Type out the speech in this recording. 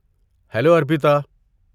Hello, Arpita.